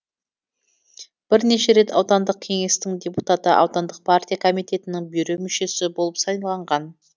бірнеше рет аудандық кеңестің депутаты аудандық партия комитетінің бюро мүшесі болып сайланған